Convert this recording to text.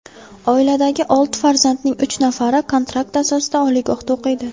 Oiladagi olti farzandning uch nafari kontrakt asosida oliygohda o‘qiydi.